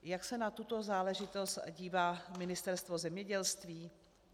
Jak se na tuto záležitost dívá Ministerstvo zemědělství?